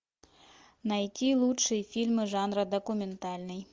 найти лучшие фильмы жанра документальный